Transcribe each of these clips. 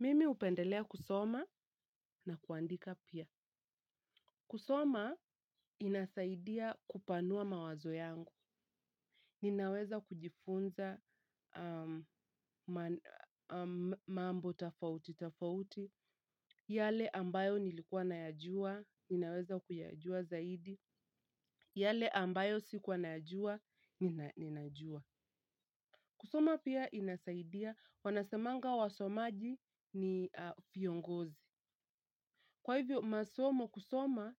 Mimi hupendelea kusoma na kuandika pia. Kusoma inasaidia kupanua mawazo yangu. Ninaweza kujifunza mambo tafauti tafauti, yale ambayo nilikuwa nayajua, ninaweza kuyajua zaidi, yale ambayo sikuwa nayajua, ninajua. Kusoma pia inasaidia, wanasemanga wasomaji ni viongozi. Kwa hivyo, masomo kusoma,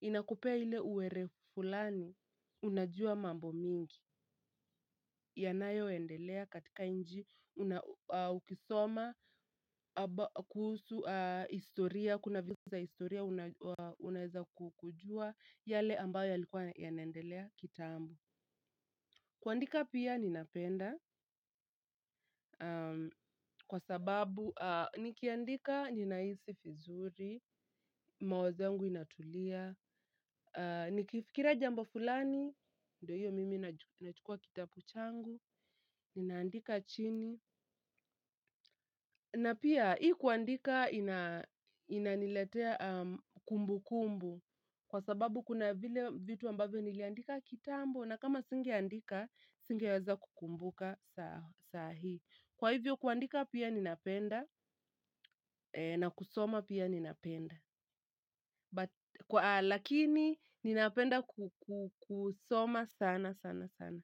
inakupea hile uerevu fulani, unajua mambo mingi, yanayoendelea katika nchi, ukisoma, kuhusu historia, kuna vitu za historia, unaeza kujua yale ambayo yalikua yanaendelea kitambo. Kuandika pia ninapenda kwa sababu nikiandika ninahisi vizuri, mawazo yangu inatulia, nikifikiria jambo fulani, ndo hiyo mimi nachukua kitabu changu, ninaandika chini. Na pia hii kuandika inaniletea kumbukumbu kwa sababu kuna vile vitu ambavo niliandika kitambo na kama singeandika, singeweza kukumbuka sahi. Kwa hivyo kuandika pia ninapenda na kusoma pia ninapenda. Lakini ninapenda kusoma sana sana sana.